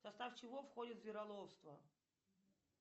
в состав чего входит звероловство